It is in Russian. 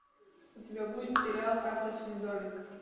у тебя будет сериал карточный домик